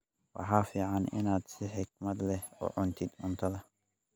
Waxaa fiican inaad si xikmad leh u cuntid cuntadaada.